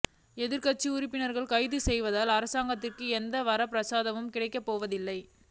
எதிர்க்கட்சி உறுப்பினர்களை கைது செய்வதால் அராங்கத்திற்கு எந்த வரப்பிரசாதமும் கிடைக்கப் போவதில்லை